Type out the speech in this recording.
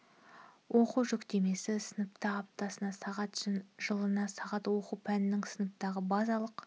оқу жүктемесі сыныпта аптасына сағат жылына сағат оқу пәнінің сыныптағы базалық